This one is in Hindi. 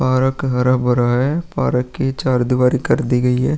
पार्क हरा-भरा है। पार्क की चार दीवारी कर दी गई है।